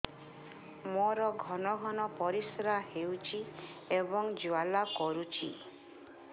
ମୋର ଘନ ଘନ ପରିଶ୍ରା ହେଉଛି ଏବଂ ଜ୍ୱାଳା କରୁଛି